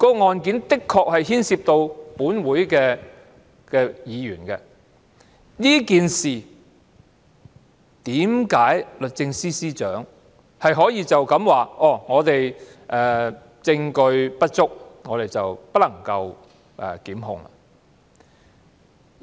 案件的確牽涉立法會議員，為何律政司司長可以只回應這件事證據不足，不能檢控？